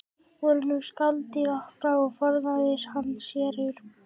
Voru nú skáladyr opnar og forðaði hann sér úr bænum.